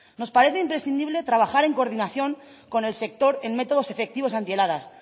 nos parece imprescindible trabajar en coordinación con el sector en métodos efectivos antiheladas